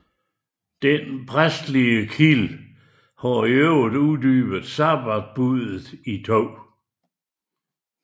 Den præstelige kilde har i øvrigt uddybet sabbatbuddet i 2